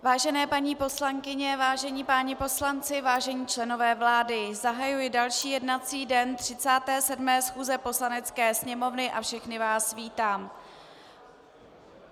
Vážené paní poslankyně, vážení páni poslanci, vážení členové vlády, zahajuji další jednací den 37. schůze Poslanecké sněmovny a všechny vás vítám.